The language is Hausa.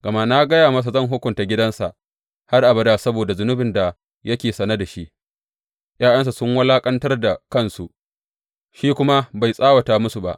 Gama na gaya masa zan hukunta gidansa har abada saboda zunubin da yake sane da shi; ’ya’yansa sun wulaƙantar da kansu, shi kuma bai tsawata musu ba.